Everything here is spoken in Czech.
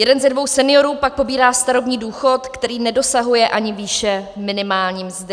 Jeden ze dvou seniorů pak pobírá starobní důchod, který nedosahuje ani výše minimální mzdy.